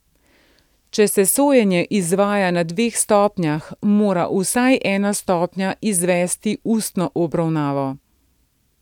Če se sojenje izvaja na dveh stopnjah mora vsaj ena stopnja izvesti ustno obravnavo.